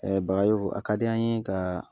a ka di an ye ka